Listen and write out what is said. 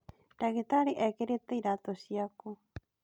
Ndagĩtarĩ ekĩrĩte iratũ ciaku